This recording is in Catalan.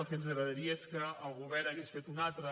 el que ens agradaria és que el govern hagués fet una altra